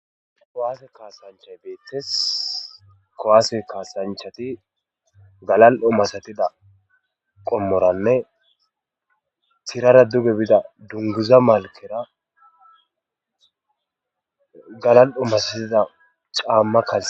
kowaase kaasanchay beettes kowaase kaasanchati galal7o masatida qommoranne tirara duge bida dunguza malkera galal7o masatida caamma kalee